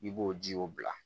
I b'o ji o bila